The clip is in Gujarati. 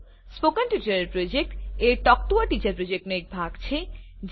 સ્પોકન ટ્યુટોરિયલ પ્રોજેક્ટ એ ટોક ટુ અ ટીચર પ્રોજેક્ટનો એક ભાગ છે